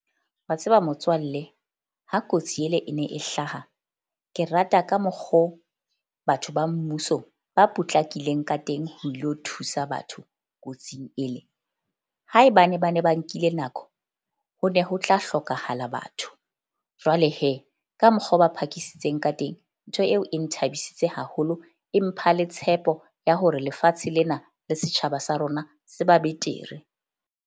Wa tseba motswalle ha kotsi ele e ne e hlaha. Ke rata ka mokgo batho ba mmuso ba potlakileng ka teng ho lo thusa batho kotsing ele. Haebane ba ne ba nkile nako, ho ne ho tla hlokahala batho. Jwale ka mokgwa o ba phakisitse ka teng. Ntho eo e nthabisitseng haholo e mpha le tshepo ya hore lefatshe lena le setjhaba sa rona se ba betere.